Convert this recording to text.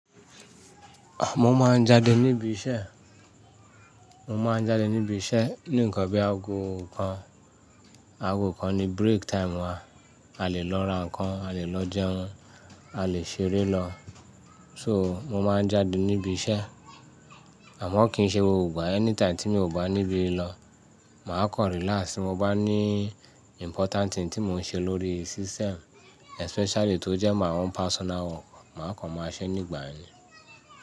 Mo máa ń jáde níbi iṣẹ́, mo máa ń jáde níbi iṣẹ́ ní nǹkan bí i aago kan, aago kan ní break time wa, a lè lọ ra nǹkan, a lè lọ jẹun, a lè ṣeré lọ. So, mo máa ń jáde níbi iṣẹ́ àmọ́ kì í ṣe gbogbo ìgbà, anytime tí mi ò bá níbi lọ, màá kọ̀ relax. Mo bá ní important thing tí mò ń ṣe lórí system especially tó jẹ́ my own personal work, màá kan máa ṣe nígbà yẹn ni.